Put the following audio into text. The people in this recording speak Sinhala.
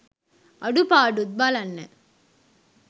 අඩුපාඩුත් බලන්න.